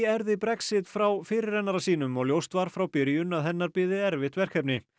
erfði Brexit frá fyrirrennara sínum og ljóst var frá byrjun að hennar biði erfitt verkefni